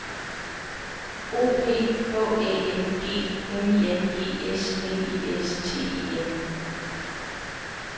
O P H Æ N G N I N G S L I S T E N